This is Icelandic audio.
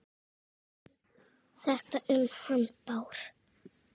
Þetta um hann Bárð?